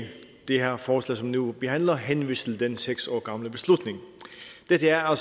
det her forslag som vi nu behandler henvist til den seks år gamle beslutning dette er